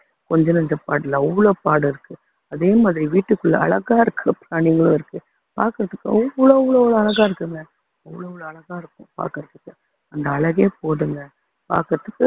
கொஞ்ச நஞ்ச பாடு இல்ல அவ்ளோ பாடு இருக்கு அதே மாதிரி வீட்டுக்குள்ள அழகா இருக்க பிராணிங்களும் இருக்கு பாக்குறதுக்கு தோல் கூட அவ்ளோ அவ்ளோ அவ்வளவு அழகா இருக்குங்க அவ்ளோ அவ்ளோ அழகா இருக்கும் பாக்குறதுக்கு அந்த அழகே போதுங்க பாக்குறதுக்கு